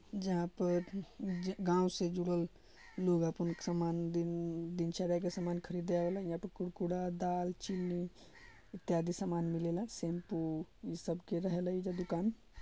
जहां पर गांव से जुडल लोग अपन समान दिन दिनचर्या के सामान खरीदे आवेला| यहाँ पे कूड कूड़ा दाल चीनी ज्यादा इत्यादि सामान मिलेला शैम्पू सब के रहेला एजा दुकान।